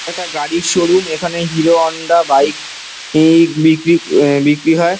একটা গাড়ির শোরুম এইখানে হিরোহোন্ডা বাইক এই বিকরি বিকরি হয়।